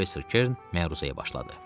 Professor Kern məruzəyə başladı.